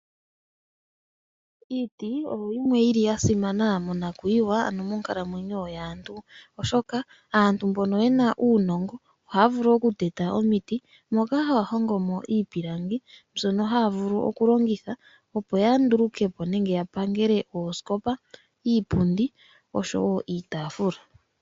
Iiti oyo yimwe yili ya simana monakuyiwa ano moonkalamwenyo yaantu ,oshoka aantu mbono yena uunongo ohaya vulu ku teta omiti moka haya hongomo iipilangi mbyono haya vulu oku longitha opo ya ndulukepo nenge ya pangele oosikopa, iipundi oshowo iitafula.